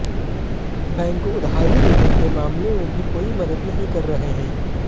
bank उधारी देने के मामले में भी कोई मदद नहीं कर रहे हैं